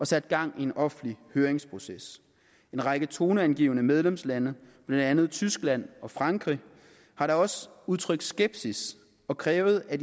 sat gang i en offentlig høringsproces en række toneangivende medlemslande blandt andet tyskland og frankrig har da også udtrykt skepsis og krævet at